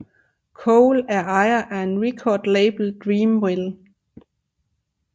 Cole er ejer af record label Dreamville